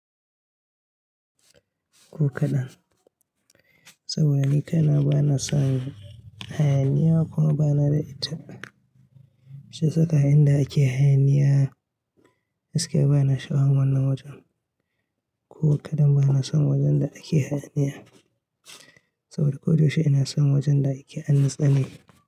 Ko kaɗan. Saboda ni kai na ba na san hayaniya kuma ba na da ita. Shi ya saka inda ake hayaniya, gaskiya ba na sha'awan wannan wajen. Ko kaɗan ba na son wajen da ake hayaniya. Saboda ko da yaushe ina son wajen da ake a natsane.